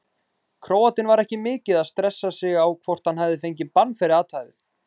Króatinn var ekki mikið að stressa sig á hvort hann fengi bann fyrir athæfið.